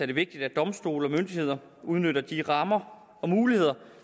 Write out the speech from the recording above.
det vigtigt at domstole og myndigheder udnytter de rammer og muligheder